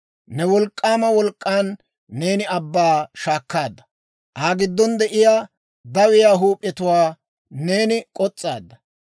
Ne wolk'k'aama wolk'k'aan neeni abbaa shaakkaadda; Aa giddon de'iyaa dawiyaa huup'iyaa neeni k'os's'aadda.